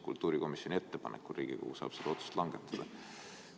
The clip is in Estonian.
Kultuurikomisjoni ettepanekul saab Riigikogu selle otsuse langetada.